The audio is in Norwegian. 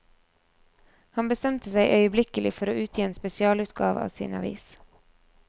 Han bestemte seg øyeblikkelig for å utgi en spesialutgave av sin avis.